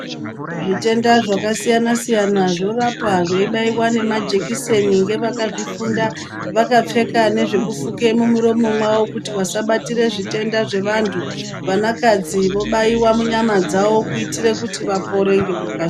Zvitenda zvakasiyana-siyana zvorapwa zveibaiwa nemajekiseni ngevakazvifunda, vakapfeka nezvekufuke mumuromo mwavo kuti vasabatire zvitenda zvevantu. Vanakadzi vobaiwa munyama dzavo kuitire kuti vapore ngekukasira.